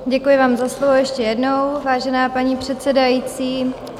Děkuji vám za slovo ještě jednou, vážená paní předsedající.